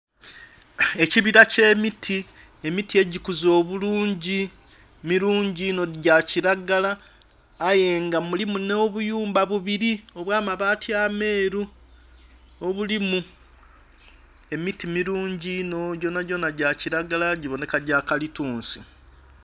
Ekibira kye miti, emiti egikuze obulungi milungi inho, gya kilagala aye nga mulimu nh'obuyumba bubiri obwa mabati ameeru obulimu...emiti milungi inho gyonhagyonha gya kilagala gibonheka gya kalitunsi.